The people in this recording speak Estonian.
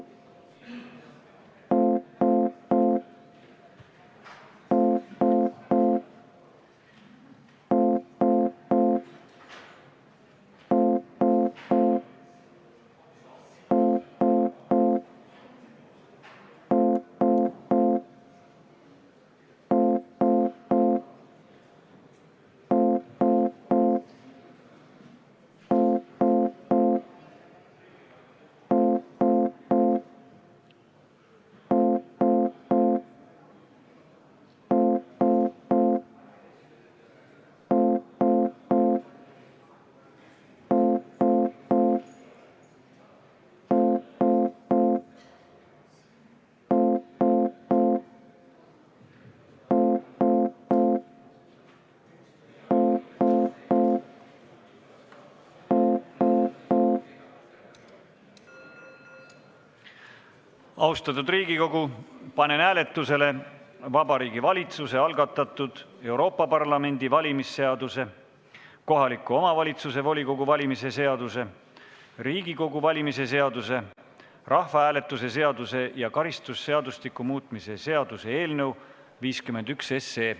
Austatud Riigikogu, panen hääletusele Vabariigi Valitsuse algatatud Euroopa Parlamendi valimise seaduse, kohaliku omavalitsuse volikogu valimise seaduse, Riigikogu valimise seaduse, rahvahääletuse seaduse ja karistusseadustiku muutmise seaduse eelnõu 51.